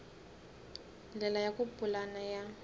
ndlela ya ku pulana ya